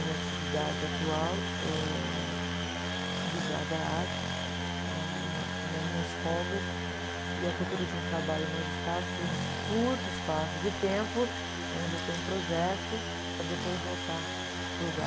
Minha atividade atual é ligada à arte, na, nas minhas folgas, e à procura de um trabalho mais estável por um curto espaço de tempo, onde eu tenho um projeto, para depois voltar para o lugar.